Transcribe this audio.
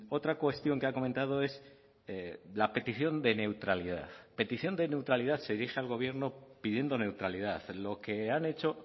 otra cuestión que ha comentado es la petición de neutralidad petición de neutralidad se dirige al gobierno pidiendo neutralidad lo que han hecho